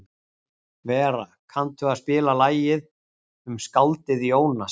Vera, kanntu að spila lagið „Um skáldið Jónas“?